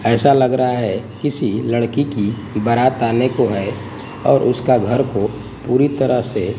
ऐसा लग रहा है किसी लड़की की सी बारात आने को है और उसका घर को पूरी तराह से--